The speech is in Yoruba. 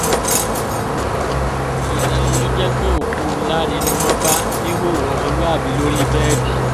ìyàlẹ́nu ló jẹ́ pé òkú láre ni wọ́n bá níhòòhò ọmọlúàbí lórí bẹ́ẹ̀dì